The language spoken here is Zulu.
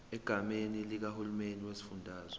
egameni likahulumeni wesifundazwe